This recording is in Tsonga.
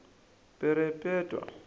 perepetwa